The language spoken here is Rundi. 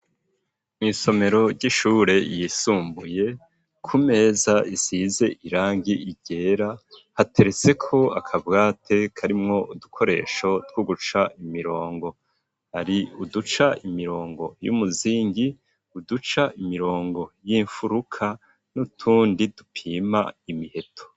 Mu isomero ry'ishure yisumbuye kumeza isize irangi ryera hateretseko akabati karimwo udukoresho two guca imirongo ari uduca imirongo y'umuzingi uduca imirongo y'imfuruka nutundi dupima imiheto.